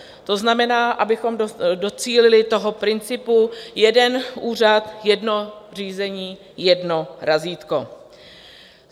To znamená, abychom docílili toho principu jeden úřad, jedno řízení, jedno razítko.